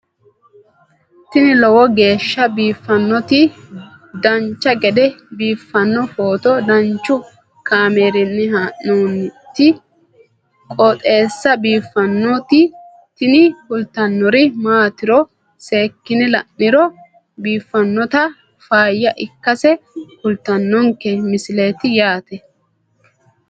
tini lowo geeshsha biiffannoti dancha gede biiffanno footo danchu kaameerinni haa'noonniti qooxeessa biiffannoti tini kultannori maatiro seekkine la'niro biiffannota faayya ikkase kultannoke misileeti yaate